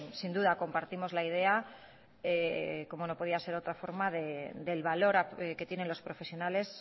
sin duda compartimos la idea como no podía ser de otra forma del valor que tienen los profesionales